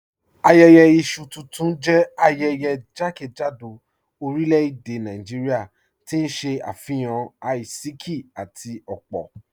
Ayẹyẹ isu tuntun jẹ ayẹyẹ jàkẹ́jádò orílẹ̀-èdè Nàìjíríà, tí n ṣe afihan àìsíkì àti opo